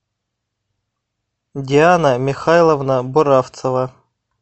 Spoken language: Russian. диана михайловна буравцева